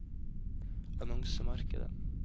annonsemarkedet